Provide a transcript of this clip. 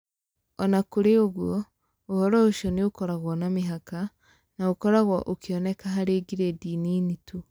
O na kũrĩ ũguo, ũhoro ũcio nĩ ũkoragwo na mĩhaka, na ũkoragwo ũkĩoneka harĩ gradi nini tu.